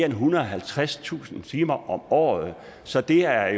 ethundrede og halvtredstusind timer om året så det er